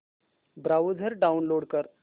browser download कर